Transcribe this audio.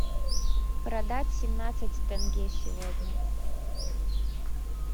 продать семнадцать тенге сегодня